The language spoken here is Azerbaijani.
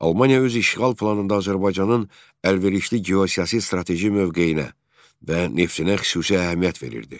Almaniya öz işğal planında Azərbaycanın əlverişli geosiyasi strateji mövqeyinə və neftinə xüsusi əhəmiyyət verirdi.